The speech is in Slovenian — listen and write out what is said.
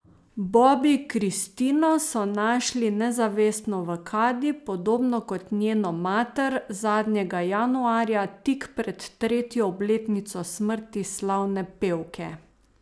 Bobbi Kristino so našli nezavestno v kadi, podobno kot njeno mater, zadnjega januarja, tik pred tretjo obletnico smrti slavne pevke.